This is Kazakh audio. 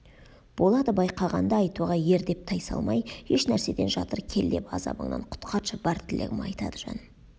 болады байқағанда айтуға ер деп тайсалмай ешнәрседен жатыр кел деп азабыңнан құтқаршы бар тілегім айтады жаным